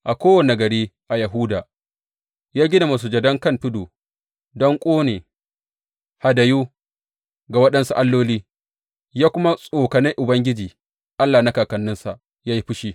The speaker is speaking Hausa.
A kowane gari a Yahuda, ya gina masujadan kan tudu don ƙone hadayu ga waɗansu alloli, ya kuma tsokane Ubangiji Allah na kakanninsa ya yi fushi.